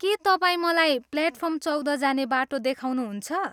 के तपाईँ मलाई प्लेटफार्म चौध जाने बाटो देखाउनुहुन्छ?